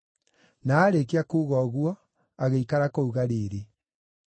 Na aarĩkia kuuga ũguo, agĩikara kũu Galili.